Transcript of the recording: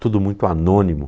Tudo muito anônimo.